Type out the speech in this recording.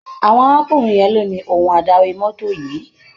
Àwọn arákùnrin yẹn ló ní ohun adarí mọ́tò yìí.